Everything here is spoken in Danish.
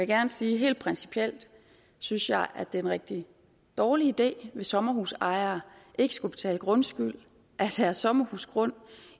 gerne sige at helt principielt synes jeg at det er en rigtig dårlig idé hvis sommerhusejere ikke skulle betale grundskyld af deres sommerhusgrund